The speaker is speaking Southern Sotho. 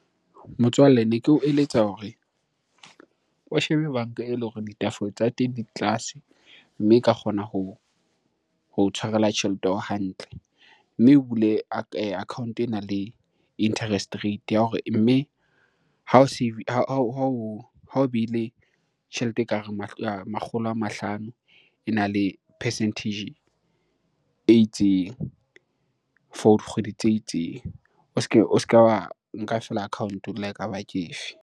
Motswalle ne ke o eletsa hore o shebe banka eleng hore tsa teng di tlase, mme e ka kgona ho tshwarela tjhelete ya hao hantle. Mme o bule account-o enang le interest rate ya hore mme ha o behile tjhelete ekareng makgolo a mahlano ena le percentage e itseng for dikgwedi tse itseng. O se ka wa nka feela account-o la ekaba ke efe?